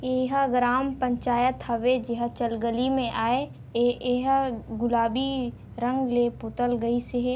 ये हर ग्राम पंचायत हवे जेहर गली में आये ये येहर गुलाबी रंग ले पोतल गइस हे।